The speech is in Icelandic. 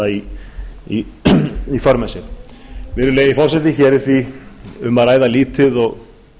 felur í sér virðulegi forseti hér er því um að ræða litið og